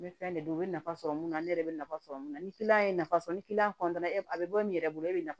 N bɛ fɛn de don u bɛ nafa sɔrɔ mun na ne yɛrɛ bɛ nafa sɔrɔ mun na ni ye nafa sɔrɔ ni a bɛ bɔ min yɛrɛ bolo e bɛ nafa